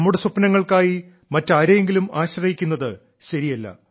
നമ്മുടെ സ്വപ്നങ്ങൾക്കായി മാറ്റാരെയെങ്കിലും ആശ്രയിക്കുന്നത് ശരിയല്ല